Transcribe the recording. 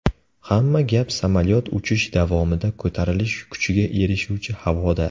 Hamma gap samolyot uchish davomida ko‘tarilish kuchiga erishuvchi havoda.